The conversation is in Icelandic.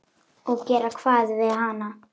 Og gera hvað við hann?